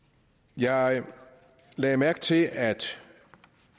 jeg lagde mærke til at